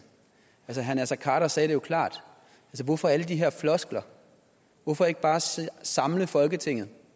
herre naser khader sagde det jo klart hvorfor alle de her floskler hvorfor ikke bare samle folketinget